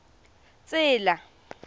road